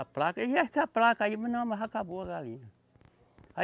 A placa, e essa placa aí, mas não, mas já acabou a galinha.